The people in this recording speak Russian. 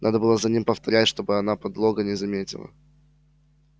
надо было за ним повторять чтобы она подлога не заметила